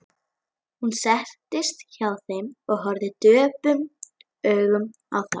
Hermóður, hvað er jörðin stór?